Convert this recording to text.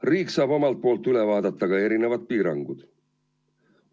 Riik saab üle vaadata ka erinevad piirangud.